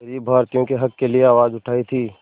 ग़रीब भारतीयों के हक़ के लिए आवाज़ उठाई थी